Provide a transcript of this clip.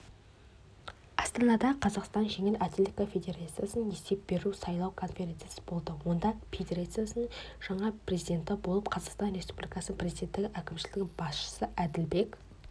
астанада қазақстан жеңіл атлетика федерациясының есеп беру-сайлау конференциясы болды онда федерацияның жаңа президенті болып қазақстан республикасы президенті әкімшілігінің басшысы әділбек